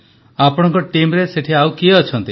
ପ୍ରଧାନମନ୍ତ୍ରୀ ଆପଣଙ୍କ ଟିମ୍ରେ ସେଠି ଆଉ କିଏ ଅଛନ୍ତି